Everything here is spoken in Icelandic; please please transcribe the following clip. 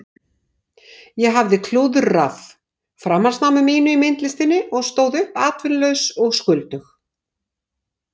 Ég hafði klúðrað framhaldsnámi mínu í myndlistinni og stóð uppi atvinnulaus og skuldug.